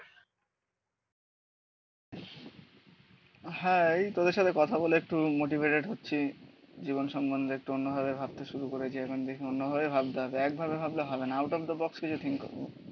হ্যাঁ তোদের সাথে কথা বলে একটু মোটিভেটেড হচ্ছি জীবন সম্বন্ধে একটু অন্যভাবে ভাবতে শুরু করেছি. এখন দেখি অন্যভাবে ভাবতে হবে. একভাবে ভাবলে হবে না আউট অফ দা বক্স কিছু থিঙ্ক